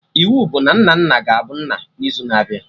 Iwu bụ na Nnanna ga-abu nna n'izu na-abịa!